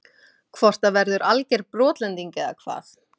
Hvort það verður alger brotlending eða hvað?